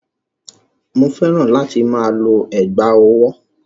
Mò fẹ́ràn láti máa lo ẹ̀gbá-ọwọ́.